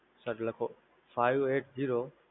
Sir લખો Five Eight Zero